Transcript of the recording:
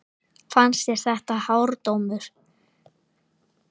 Fannst þér þetta hár dómur?